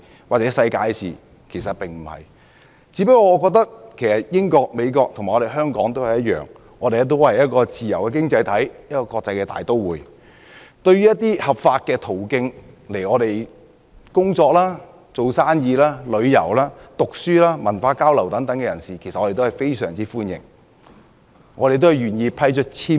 不是，我只是覺得英國、美國和香港都是自由經濟體系和國際大都會，對於循合法途徑來港工作、營商、旅遊、讀書、文化交流等人士表示歡迎，也願意向他們批出簽證。